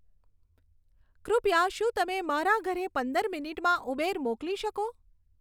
કૃપયા શું તમે મારા ઘરે પંદર મિનીટમાં ઉબેર મોકલી શકો